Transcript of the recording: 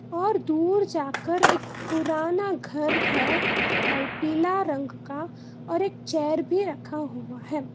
और दूर जाकर एक पुराना घर है पीला रंग का और एक चेयर भी रखा हुआ है।